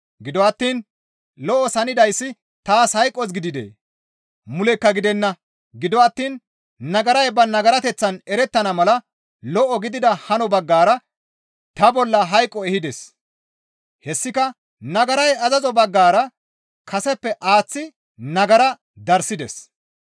Gido attiin lo7os hanidayssi taas hayqos gididee? Mulekka gidenna; gido attiin nagaray ba nagarateththan erettana mala lo7o gidida hano baggara ta bolla hayqo ehides; hessika nagaray azazo baggara kaseppe aaththi nagara darssides.